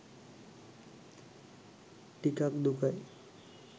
ටිකක් දුකයි.